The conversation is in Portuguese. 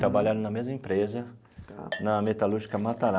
Trabalharam na mesma empresa, na metalúrgica